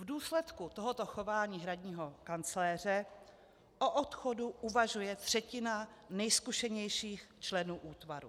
V důsledku tohoto chování hradního kancléře o odchodu uvažuje třetina nejzkušenějších členů útvaru.